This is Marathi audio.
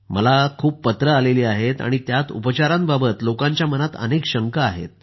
मला खूप पत्रं आली असून त्यात उपचारांबाबत लोकांच्या मनात अनेक शंका आहेत